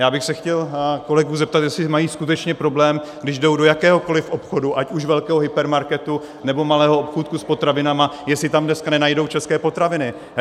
Já bych se chtěl kolegů zeptat, jestli mají skutečně problém, když jdou do jakéhokoliv obchodu, ať už velkého hypermarketu, nebo malého obchůdku s potravinami, jestli tam dneska nenajdou české potraviny.